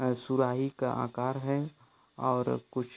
और सुराही आकार है और कुछ --